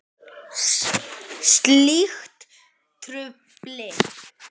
Slíkt trufli.